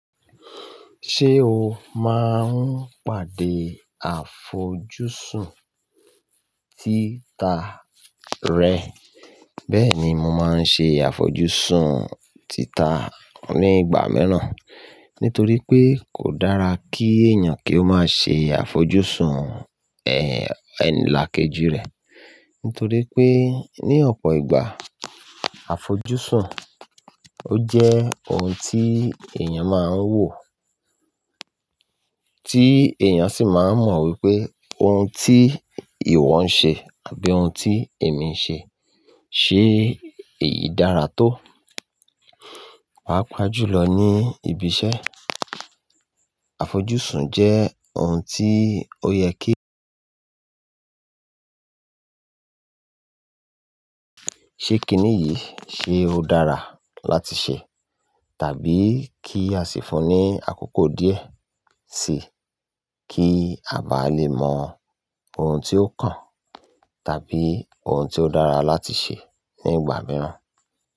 Ṣé o máa ń pàdé àfojúsùn títa rẹ? Bẹ́ẹ̀ ni, mo máa ń ṣe àfojúsùn títa nígbà miiràn, nítorí pé kò dára kí èèyàn kí ó má ṣe àfojúsùn, ẹ́, ẹ̀là kejì rẹ̀. Nítorí pé ní ọ̀pọ̀ ìgbà, àfojúsùn ó jẹ́ ohun tí èèyàn máa ń wò, tí èèyàn sì máa ń mọ wípé ohun tí ìwọ ń ṣe àbí ohun tí èmi ń ṣe, ṣe éyi dára tó? Pàá pàájùlọ ní ibi iṣẹ́. Àfojúsùn jẹ́ ohun tí ó yẹ kí, ṣe kìní yìí, ṣe ó dára láti ṣe? Tàbí kí a sì fún ní àkókò díẹ̀ síí, kí a bá lè mọ ohun tí ó kàn tàbí ohun tí ó dára láti ṣe nígbà mìíràn.